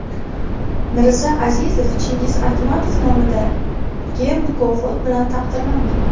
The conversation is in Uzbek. Mirza Azizov Chingiz Aytmatov nomidagi mukofot bilan taqdirlandi.